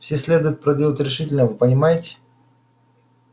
всё следует проделать решительно вы понимаете